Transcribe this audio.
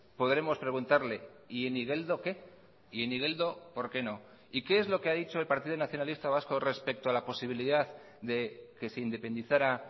podremos preguntarle y en igeldo qué y en igeldo por qué no y qué es lo que ha dicho el partido nacionalista vasco respecto a la posibilidad de que se independizara